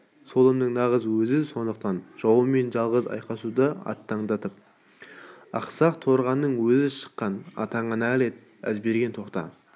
солымның нағыз өзі сондықтан жауымен жалғыз айқасуға аттандап ақсақ торқаның өзі шыққан атаңа нәлет әзберген тоқта